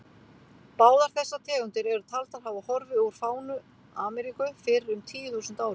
Báðar þessar tegundir eru taldar hafa horfið úr fánu Ameríku fyrir um tíu þúsund árum.